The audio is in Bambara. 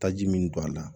Taji min don a la